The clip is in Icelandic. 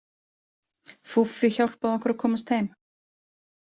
Fúffi hjálpaði okkur að komast heim.